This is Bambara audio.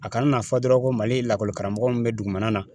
A kana n'a fɔ dɔrɔn ko Mali ye lakɔli karamɔgɔ min bɛ dugumana na